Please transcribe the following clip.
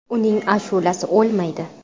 Uning ashulasi o‘lmaydi.